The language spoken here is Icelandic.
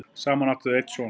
saman áttu þau einn son